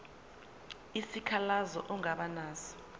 isikhalazo ongaba naso